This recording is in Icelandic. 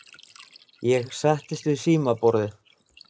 Ég settist við símaborðið.